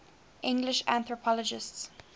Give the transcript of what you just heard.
english anthropologists